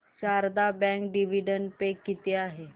Sharda bank dividend pay किती आहे